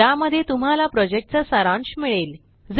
ज्यामध्ये तुम्हाला प्रॉजेक्टचा सारांश मिळेल